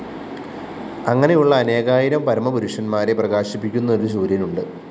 അങ്ങനെയുള്ള അനേകായിരം പരമപുരുഷന്മാരെ പ്രകാശിപ്പിക്കുന്ന ഒരു സൂര്യനുണ്ട്‌